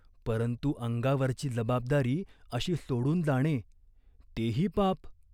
परंतु अंगावरची जबाबदारी अशी सोडून जाणे, तेही पाप.